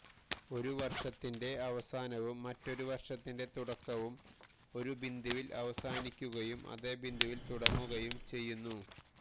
ഒരു വര്ഷത്തിന്റെ അവസാനവും മറ്റൊരു വര്ഷത്തിന്റെ തുടക്കവും ഒരു ബിന്ദുവില് അവസാനിക്കുകയും അതേ ബിന്ദുവില് തുടങ്ങുകയും ചെയ്യുന്നു